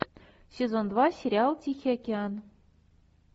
сезон два сериал тихий океан